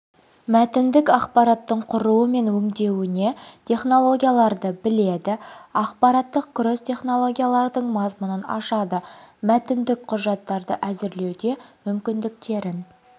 мәтіндік ақпараттың құруы мен өңдеуіне технологияларды біледі ақпараттық кросс технологиялардың мазмұнын ашады мәтіндік құжаттарды әзірлеуде мүмкіндіктерін